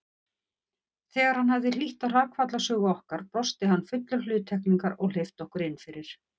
Þegar hann hafði hlýtt á hrakfallasögu okkar brosti hann fullur hluttekningar og hleypti okkur innfyrir.